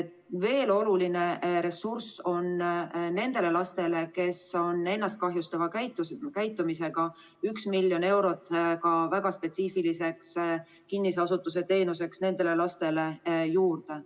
Ja veel on oluline ressurss, üks miljon, nendele lastele, kes on ennast kahjustava käitumisega, väga spetsiifiliseks kinnise asutuse teenuseks nendele lastele juurde.